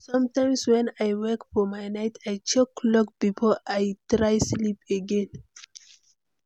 Sometimes, when I wake for night, I check clock before I try sleep again.